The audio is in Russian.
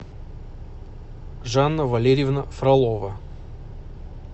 жанна валерьевна фролова